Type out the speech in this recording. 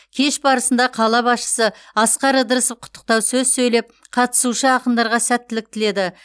кеш барысында қала басшысы асқар ыдырысов құттықтау сөз сөйлеп қатысушы ақындарға сәттілік тіледі